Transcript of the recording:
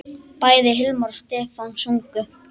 Bæði Hilmar og Stefán sungu.